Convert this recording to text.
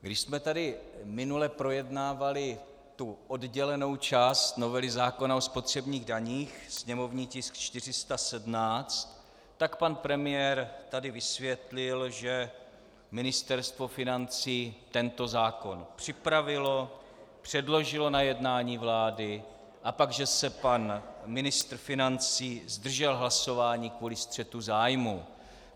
Když jsme tady minule projednávali tu oddělenou část novely zákona o spotřebních daních, sněmovní tisk 417, tak pan premiér tady vysvětlil, že Ministerstvo financí tento zákon připravilo, předložilo na jednání vlády, a pak že se pan ministr financí zdržel hlasování kvůli střetu zájmu.